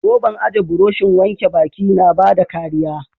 Roban aje burushin wanke baki na bada kariya.